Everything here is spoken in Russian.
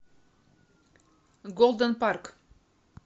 голден парк